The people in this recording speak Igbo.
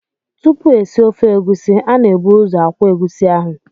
Tupu esie ofe egusi, a na-ebu ụzọ akwọ egusi ahụ.